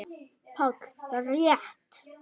PÁLL: Rétt!